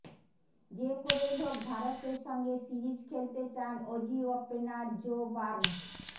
যে করেই হোক ভারতের সঙ্গে সিরিজ খেলতে চান অজি ওপেনার জো বার্নস